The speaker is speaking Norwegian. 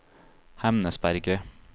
Hemnesberget